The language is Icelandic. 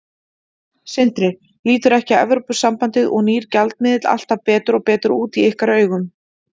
Sindri: Lítur ekki Evrópusambandið og nýr gjaldmiðill alltaf betur og betur út í ykkar augum?